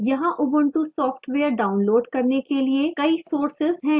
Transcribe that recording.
यहाँ ubuntu software download करने के लिए कई sources हैं